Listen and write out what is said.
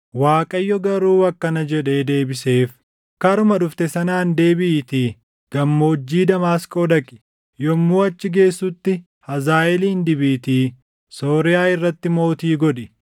Waaqayyo garuu akkana jedhee deebiseef; “Karuma dhufte sanaan deebiʼiitii Gammoojjii Damaasqoo dhaqi. Yommuu achi geessutti Hazaaʼeelin dibiitii Sooriyaa irratti mootii godhi.